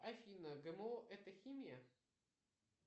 афина гмо это химия